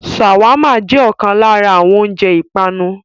ṣàwámà jẹ ọkan lára àwọn oúnjẹ ìpanu.